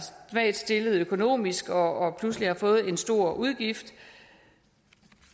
svagt stillet økonomisk og pludselig har fået en stor udgift